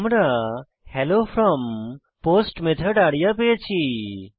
আমরা hello from post method area পেয়েছি